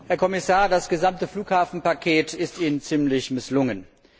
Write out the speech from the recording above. Herr Kommissar, das gesamte Flughafenpaket ist Ihnen ziemlich misslungen.